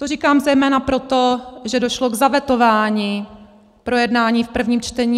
To říkám zejména proto, že došlo k zavetování projednání v prvním čtení.